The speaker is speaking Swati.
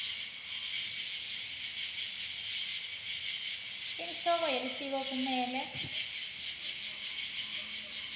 inhloko yelitiko kumele